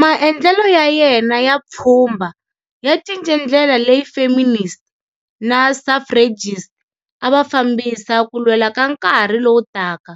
Maendlelo ya yena ya pfhumba ya cince ndlela leyi feminist na suffragists ava fambisa ku lwela ka nkarhi lowu taka,